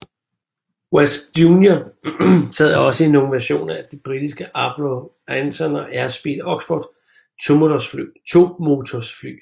Wasp Junior sad også i nogle versioner af de britiske Avro Anson og Airspeed Oxford tomotors fly